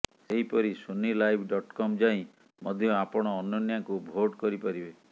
ସେହିପରି Sony live dot com ଯାଇ ମଧ୍ୟ ଆପଣ ଅନନ୍ୟାଙ୍କୁ ଭୋଟ କରିପାରିବେ